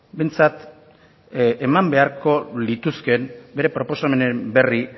behintzat bere proposamenaren berri